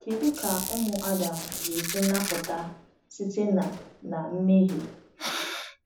Kedu ka ụmụ Adam ga-esi napụta site na na mmehie?